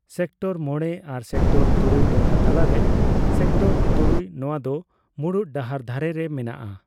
ᱥᱮᱠᱴᱚᱨᱼᱢᱚᱲᱮ ᱟᱨ ᱥᱮᱠᱴᱚᱨᱼᱛᱩᱨᱩᱭ ᱴᱚᱴᱷᱟ ᱛᱟᱞᱟᱨᱮ ᱥᱮᱠᱴᱚᱨ ᱛᱩᱨᱩᱭ ᱱᱚᱣᱟ ᱫᱚ ᱢᱩᱲᱩᱫ ᱰᱟᱦᱟᱨ ᱫᱷᱟᱨᱮ ᱨᱮ ᱢᱮᱱᱟᱜᱼᱟ ᱾